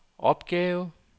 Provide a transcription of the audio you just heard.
opgave